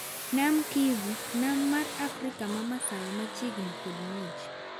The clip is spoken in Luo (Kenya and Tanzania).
Nam Kivu:Nam mar Afrika mamasawa machiegni kod muoch.